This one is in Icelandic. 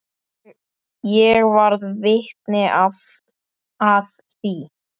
Ég varð vitni að því.